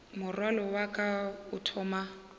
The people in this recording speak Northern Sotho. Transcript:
morwalo wa ka o thoma